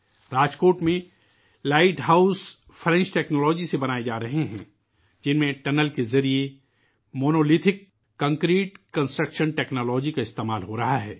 راجکوٹ میں light house فرانسیسی technology سے بنائے جا رہے ہیں ، جس میں سرنگوں کے ذریعہ کنکریٹ کی تعمیراتی ٹیکنالوجی کا استعمال کیا جارہا ہے